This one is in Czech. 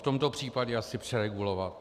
V tomto případě asi přeregulovat.